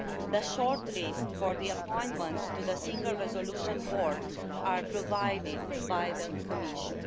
The shortlists for appointments to the Single Resolution Board are provided by the Commission.